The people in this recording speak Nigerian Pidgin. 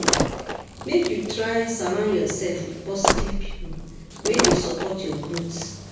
Make you try surround yourself with positive people wey dey support your growth.